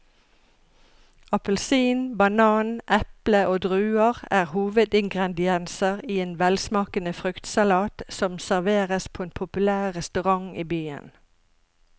Appelsin, banan, eple og druer er hovedingredienser i en velsmakende fruktsalat som serveres på en populær restaurant i byen.